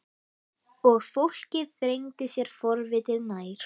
Og fólkið þrengdi sér forvitið nær.